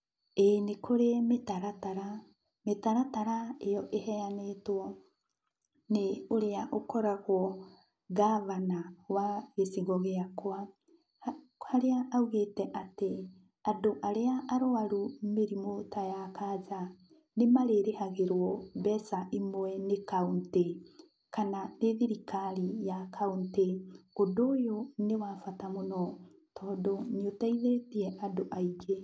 Ĩĩ, nĩ kũrĩ mĩtaratara. Mĩtaratara ĩyo ĩheanĩtwo nĩ ũrĩa ũkoragwo ngabana wa gĩcigo gĩakwa, harĩa augĩte atĩ, andũ arĩa arũaru mĩrimũ ta ya kanja, nĩmarĩrĩhagĩrwo mbeca imwe nĩ kauntĩ, kana nĩ thirikari ya kauntĩ. Ũndũ ũyũ nĩ wa bata mũno tondũ nĩ ũteithĩtie andũ aingĩ.